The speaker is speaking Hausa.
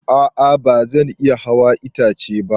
A'a ba zan iya hawa itace ba.